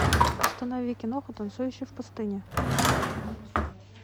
установи киноху танцующий в пустыне